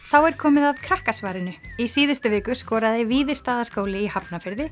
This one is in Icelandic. þá er komið að Krakkasvarinu í síðustu viku skoraði Víðistaðaskóli í